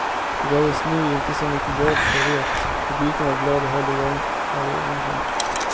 Det behövdes nu inte så mycket jobb för det, publiken var glad och höll igång av egen kraft.